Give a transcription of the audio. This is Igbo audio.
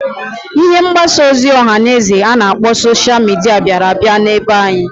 Ihe mgbasa ozi ọha na eze a na-akpọ sosha mịdịa biara abia na be anyị.